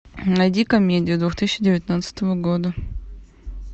найди комедию две тысячи девятнадцатого года